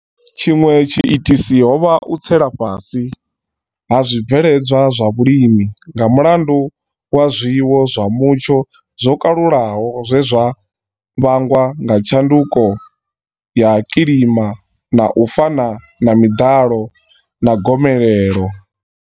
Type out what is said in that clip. Tshiṅwe tshi itisi ho vha u tsela fhasi ha zwi bveledzwa zwa vhulimi nga mulandu wa zwiwo zwa mutsho zwo kalulaho zwe zwa vhangwa nga tshanduko ya kilima u fana na miḓalo na gomelelo.